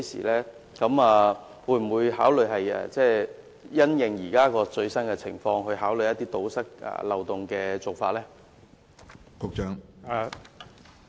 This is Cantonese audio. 當局會否因應現時的最新情況，考慮堵塞漏洞的做法？